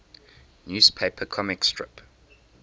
newspaper comic strip